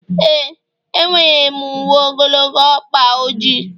ee, enwere m uwe ogologo ọkpa ojii